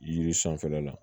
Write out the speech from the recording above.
Yiri sanfɛla la